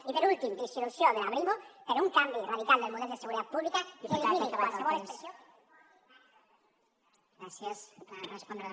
i per últim dissolució de la brimo per un canvi radical del model de seguretat pública que elimini qualsevol expressió de